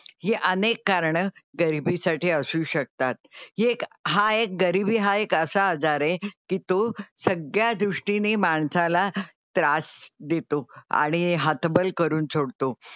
ही अनेक कारणं गरीबी साठी असू शकतात. हि एक हा एक गरीबी हा एक असा आजार आहे की तो सगळ्या दृष्टीने माणसाला त्रास देतो आणि हतबल करून सोडतो.